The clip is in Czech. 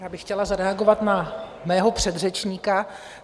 Já bych chtěla zareagovat na mého předřečníka.